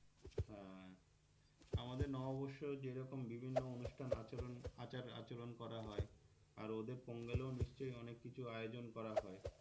হ্যাঁ আমাদের নববর্ষেও যেরকম বিভিন্ন অনুষ্ঠান আচরন আচার আচরন করা হয় আর ওদের পঙ্গালেও নিশ্চয় অনেক কিছু আয়োজন করা হয়,